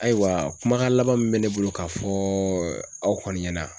Ayiwa kumakan laban min bɛ ne bolo k'a fɔ aw kɔni ɲɛna